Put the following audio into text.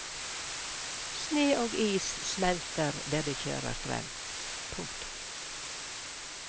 Sne og is smelter der de kjører frem. punktum